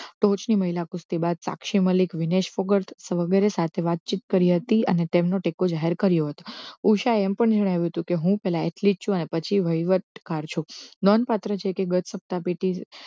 ટોચની મહિલા કુસ્તી બાદ સાક્ષી મલી વિનેશ કુકર વગેરે સાથે વાતચીત કરી હતી અને તેમનો ટેકો જાહેર કર્યો હતો. ઉષાય એમ પણ જણાવ્યું હતું કે હું પહેલા એટલી જ છું અને પછી વહીવટ કાર છું લોન પાત્ર છે કે ગત સત્તા પેટી